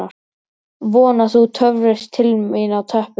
Vona: Þú töfrist til mín á teppið.